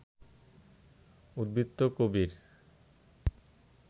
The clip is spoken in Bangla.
উদ্ধৃত করিব